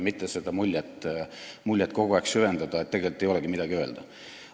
Ei ole vaja kogu aeg seda muljet süvendada, et tegelikult ei olegi midagi öelda.